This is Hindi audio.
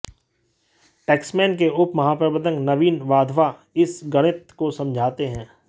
टैक्समैन के उप महाप्रबंधक नवीन वाधवा इस गणित को समझाते हैं